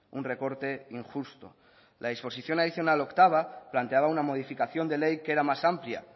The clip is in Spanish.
un recorte injusto la disposición adicional octava planteaba una modificación de ley que era más amplia